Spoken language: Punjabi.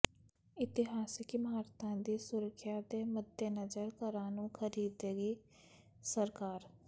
ਇਤਿਹਾਸਿਕ ਇਮਾਰਤਾਂ ਦੀ ਸੁਰੱਖਿਆ ਦੇ ਮੱਦੇਨਜ਼ਰ ਘਰਾਂ ਨੂੰ ਖਰੀਦੇਗੀ ਸਰਕਾਰ